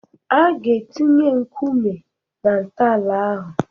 A ga-etinye nkume na-ntọala ahụ.